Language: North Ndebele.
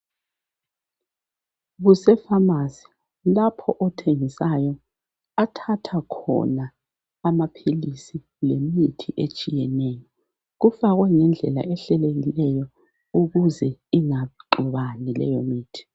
Kuse pharmacy lapho othengisayo athatha khona amaphilisi lemithi etshiyeneyo . Kufakwe ngendlela ehlelekileyo ukuze ingaxubani leyo mithi .